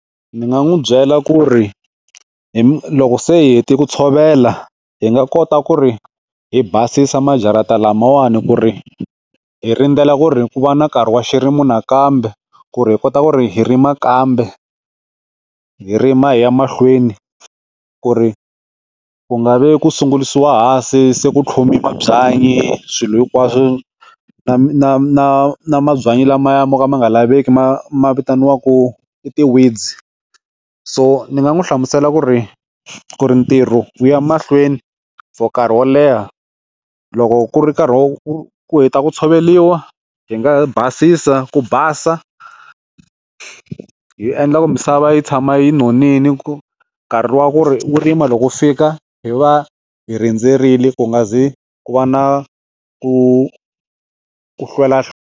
Ni nga n'wi byela ku ri hi loko se hi hete ku tshovela hi nga kota ku ri hi basisa majarata lamawani ku ri hi rindzela ku ri ku va na nkarhi wa xirimo nakambe ku ri hi kota ku ri hi rima kambe hi rima hi ya mahlweni ku ri ku nga vi ku sungulisiwa hansi se ku tlhumi mabyanyi swilo hinkwaswo na na na na mabyanyi lamaya mo ka ma nga laveki ma ma vitaniwaku i tiweeds so ni nga n'wi hlamusela ku ri ku ri ntirho u ya mahlweni for nkarhi wo leha loko ku ri nkarhi wo ku ku heta ku tsholeriwa hi nga basisa ku basa hi endla ku misava yi tshama yi nonile ku nkarhi wa ku ri rima loko fika hi va hi rindzerile ku nga ze ku va na ku ku hlwela .